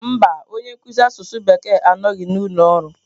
Mba, onye nkuzi asụsụ Bekee anọghị n'ụlọ ọrụ